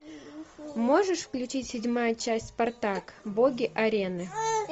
можешь включить седьмая часть спартак боги арены